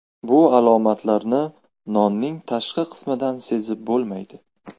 Bu alomatlarni nonning tashqi qismidan sezib bo‘lmaydi.